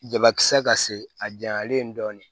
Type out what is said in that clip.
Jabakisɛ ka se a janyalen dɔn